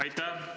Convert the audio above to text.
Aitäh!